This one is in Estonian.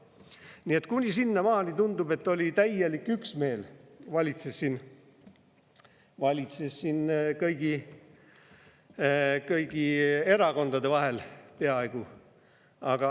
Nii et tundub, et sinnamaani oli täielik üksmeel, mis valitses siin kõigi erakondade vahel – peaaegu.